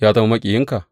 Ya zama maƙiyinka?